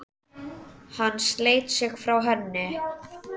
Hann sleit sig frá henni.